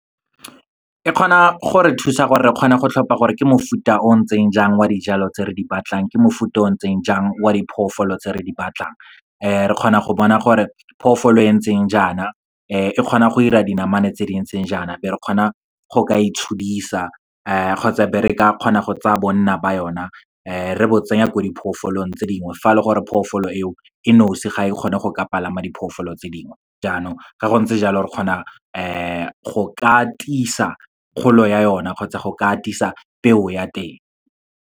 E kgona go re thusa gore re kgona go tlhopha gore ke mofuta o o ntseng jang wa dijalo tse re di batlang, ke mofuta o o ntseng jang oa diphoofolo tse re di batlang. Re kgona go bona gore phoofolo e ntseng jaana e kgona go ira dinamane tse di ntseng jaana, be re kgona go ka e tshodisa kgotsa be re ka kgona go tsaya bonna ba yona, re bo tsenya ko diphoofolong tse dingwe. Fa e le gore phofolo eo e nosi ga e kgone go ka palama diphoofolo tse dingwe, jaanong ga go ntse jalo re kgona go ka tlisa kgolo ya yona, kgotsa go ka atisa peo ya teng.